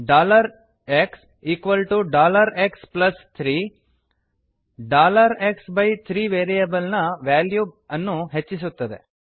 xx3 x by 3 variable ನ value ಬೆಲೆ ವನ್ನು ಹೆಚ್ಚಿಸುತ್ತದೆ